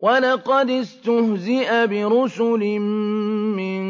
وَلَقَدِ اسْتُهْزِئَ بِرُسُلٍ مِّن